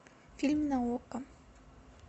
фильм на окко